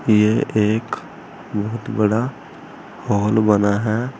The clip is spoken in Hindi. ये एक बहुत बड़ा हाल बना है।